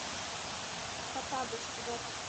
хоттабыч запись